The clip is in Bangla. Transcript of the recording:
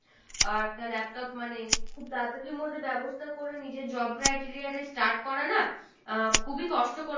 আহ একটা laptop মানে খুব তারাতারির মধ্যে ব্যবস্থা করে নিজের job criteria টা start করা না আহ খুবই কষ্টকর